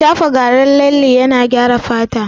Shafa garin lalle yana gyara fata